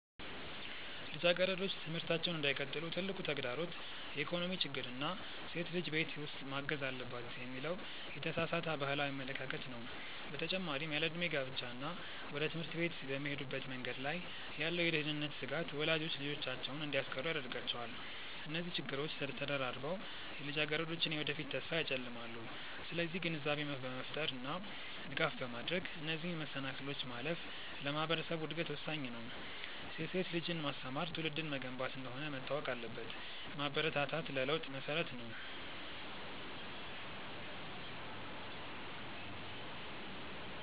ልጃገረዶች ትምህርታቸውን እንዳይቀጥሉ ትልቁ ተግዳሮት የኢኮኖሚ ችግር እና ሴት ልጅ ቤት ውስጥ ማገዝ አለባት የሚለው የተሳሳተ ባህላዊ አመለካከት ነው። በተጨማሪም ያለዕድሜ ጋብቻ እና ወደ ትምህርት ቤት በሚሄዱበት መንገድ ላይ ያለው የደህንነት ስጋት ወላጆች ልጆቻቸውን እንዲያስቀሩ ያደርጋቸዋል። እነዚህ ችግሮች ተደራርበው የልጃገረዶችን የወደፊት ተስፋ ያጨልማሉ። ስለዚህ ግንዛቤ በመፍጠር እና ድጋፍ በማድረግ እነዚህን መሰናክሎች ማለፍ ለማህበረሰቡ እድገት ወሳኝ ነው። ሴት ልጅን ማስተማር ትውልድን መገንባት እንደሆነ መታወቅ አለበት። ማበረታታት ለለውጥ መሰረት ነው።